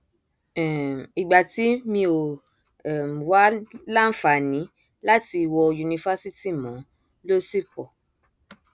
um ìgbà tí mi ò um wáá láǹfààní láti wọ yunifásitì mọ ló sì pọ